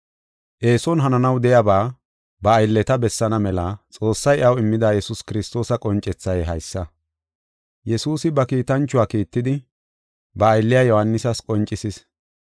Eeson hananaw de7iyaba ba aylleta bessaana mela Xoossay iyaw immida Yesuus Kiristoosa qoncethay haysa. Yesuusi ba kiitanchuwa kiittidi, ba aylliya Yohaanisas qoncisis.